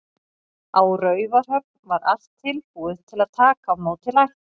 Á Raufarhöfn var allt tilbúið að taka á móti lækni.